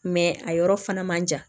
a yɔrɔ fana man jan